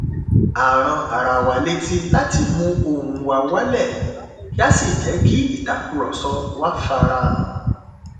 a ran ara wa létí láti mu ohùn wa wálẹ kí á sì jẹ kí ìtàkùrọsọ wa farahàn